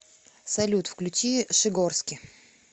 салют включи шигорски